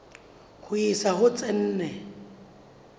ho isa ho tse nne